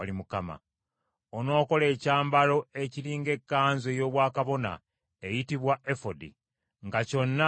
“Onookola ekyambalo ekiri ng’ekkanzu ey’obwakabona eyitibwa efodi, nga kyonna kya bbululu.